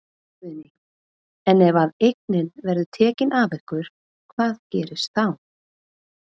Guðný: En ef að eignin verður tekin af ykkur hvað gerist þá?